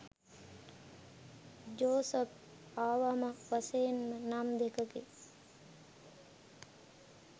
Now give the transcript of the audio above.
Joseph අවම වශයෙන් නම් දෙකකින්